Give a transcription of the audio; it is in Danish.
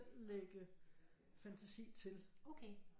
Lægge fantasi til